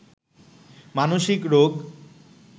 মানসিক রোগ